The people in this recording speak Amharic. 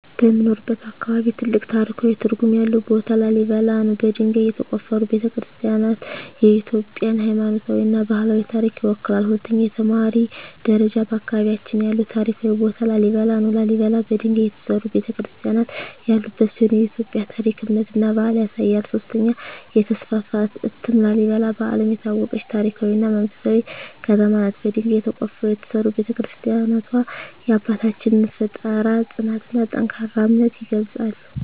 በምኖርበት አካባቢ ትልቅ ታሪካዊ ትርጉም ያለው ቦታ ላሊበላ ነው። በድንጋይ የተቆፈሩ ቤተ-ክርስቲያናትዋ የኢትዮጵያን ሃይማኖታዊና ባህላዊ ታሪክ ይወክላሉ። 2) የተማሪ ደረጃ በአካባቢያችን ያለው ታሪካዊ ቦታ ላሊበላ ነው። ላሊበላ በድንጋይ የተሠሩ ቤተ-ክርስቲያናት ያሉበት ሲሆን የኢትዮጵያን ታሪክ፣ እምነትና ባህል ያሳያል። 3) የተስፋፋ እትም ላሊበላ በዓለም የታወቀች ታሪካዊ እና መንፈሳዊ ከተማ ናት። በድንጋይ ተቆፍረው የተሠሩ ቤተ-ክርስቲያናትዋ የአባቶቻችንን ፍጠራ፣ ጽናትና ጠንካራ እምነት ይገልጻሉ።